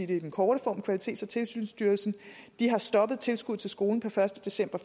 den korte form af kvalitets og tilsynsstyrelsen har stoppet tilskuddet til skolen per første december